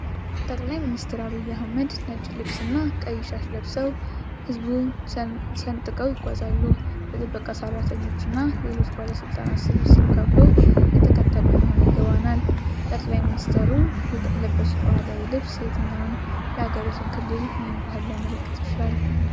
ጠቅላይ ሚኒስትር ዐብይ አህመድ ነጭ ልብስ እና ቀይ ሻሽ ለብሰው ሕዝቡን ሰንጥቀው ይጓዛሉ። የጥበቃ ሠራተኞች እና የሌሎች ባለሥልጣናት ስብስብ ከበው እየተከተሉ እንደሆነ ይገባናል። ጠቅላይ ሚኒስትሩ የለበሱት ባህላዊ ልብስ የትኛውን የአገሪቱን ክልል ወይም ባህል ሊያመለክት ይችላል?